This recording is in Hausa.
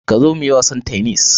Ka zo muyi wasan tennis.